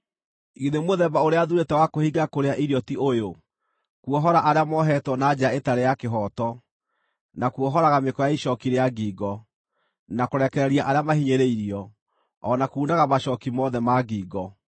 “Githĩ mũthemba ũrĩa thuurĩte wa kwĩhinga kũrĩa irio ti ũyũ: kuohora arĩa moohetwo na njĩra ĩtarĩ ya kĩhooto, na kuohoraga mĩkwa ya icooki rĩa ngingo, na kũrekereria arĩa mahinyĩrĩirio, o na kuunanga macooki mothe ma ngingo?